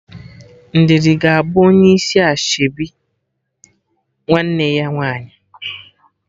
Ndidi ga-abụ onye isi ashebi nwanne ya nwaanyị